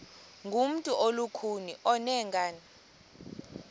ngumntu olukhuni oneenkani